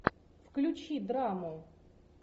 включи драму